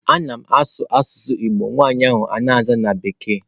A na m asụ n'asusu Igbo, nwanyi ahu na-aza na bekee.